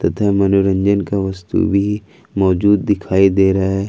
मनोरंजन का वास्तु भी मौजूद दिखाई दे रहा है।